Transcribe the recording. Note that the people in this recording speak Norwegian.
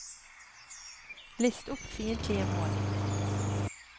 list opp fiendtlige mål